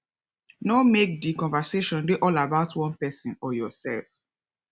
no make di conversation dey all about one person or yourself